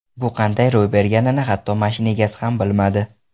Bu qanday ro‘y berganini hatto mashina egasi ham bilmadi.